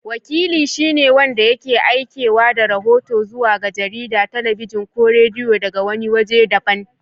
Wakili shi ne wanda yake aikewa da rahoto zuwa ga jarida, talabijin ko rediyo daga wani wajen daban.